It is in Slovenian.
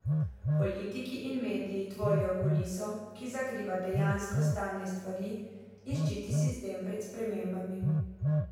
Politiki in mediji tvorijo kuliso, ki zakriva dejansko stanje stvari in ščiti sistem pred spremembami.